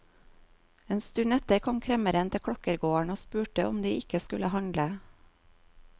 En stund etter kom kremmeren til klokkergården og spurte om de ikke skulle handle.